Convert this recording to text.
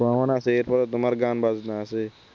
ভ্রমণ আছে এরপর তোমার গান-বাজনা আছে